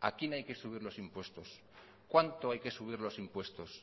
a quién hay que subir los impuestos cuánto hay que subir los impuestos